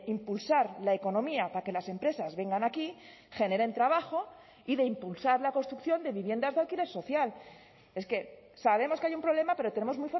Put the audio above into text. impulsar la economía para que las empresas vengan aquí generen trabajo y de impulsar la construcción de viviendas de alquiler social es que sabemos que hay un problema pero tenemos